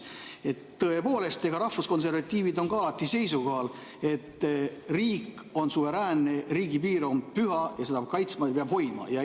Tõepoolest, rahvuskonservatiivid on ka alati seisukohal, et riik on suveräänne, riigipiir on püha ja seda peab kaitsma, seda peab hoidma.